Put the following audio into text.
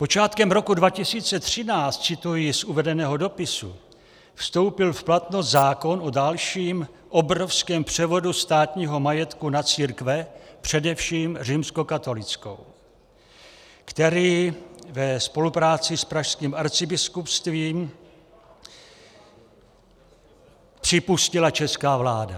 "Počátkem roku 2013," cituji z uvedeného dopisu, "vstoupil v platnost zákon o dalším obrovském převodu státního majetku na církve, především římskokatolickou, který ve spolupráci s Pražským arcibiskupstvím připustila česká vláda.